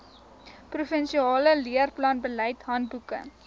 provinsiale leerplanbeleid handboeke